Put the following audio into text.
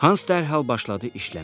Hans dərhal başladı işləməyə.